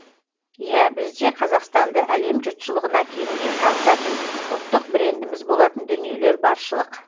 иә бізде қазақстанды әлем жұртшылығына кеңінен танытатын ұлттық брендіміз болатын дүниелер баршылық